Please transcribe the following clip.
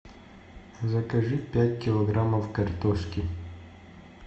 закажи пять килограммов картошки